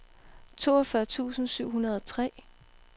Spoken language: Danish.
toogfyrre tusind syv hundrede og tre